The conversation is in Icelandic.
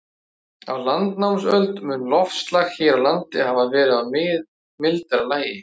Á landnámsöld mun loftslag hér á landi hafa verið í mildara lagi.